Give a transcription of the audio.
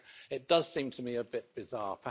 It does seem to me a bit bizarre.